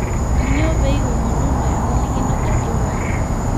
'Kanyio pee iwomonono empalikino Guardiola?